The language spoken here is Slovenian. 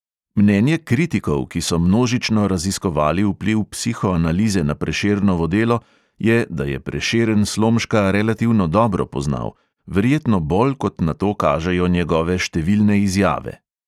Mnenje kritikov, ki so množično raziskovali vpliv psihoanalize na prešernovo delo, je, da je prešeren slomška relativno dobro poznal, verjetno bolj kot na to kažejo njegove številne izjave.